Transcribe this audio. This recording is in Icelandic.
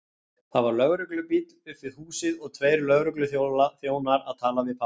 Það var lögreglubíll upp við húsið og tveir lögregluþjónar að tala við pabba!